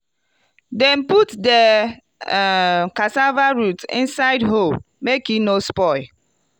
dem put di um cassava root inside hole make e no spoil.